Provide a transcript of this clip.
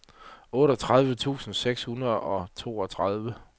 otteogtredive tusind seks hundrede og toogtredive